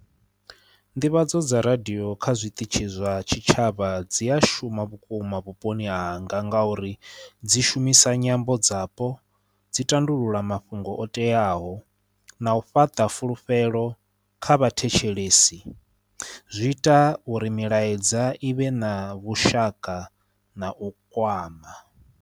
Nḓivhadzo dza radio kha zwiṱitshi zwa tshitshavha dzi a shuma vhukuma vhuponi hanga ngauri dzi shumisa nyambo dzapo, dzi tandulula mafhungo o teaho na u fhaṱa fulufhelo kha vhathetshelesi. Zwi ita uri milaedza i vhe na vhushaka na u kwama.